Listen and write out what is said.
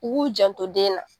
U k'u janto den na.